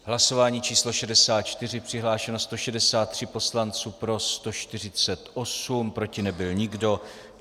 Hlasování číslo 64, přihlášeno 163 poslanců, pro 148, proti nebyl nikdo.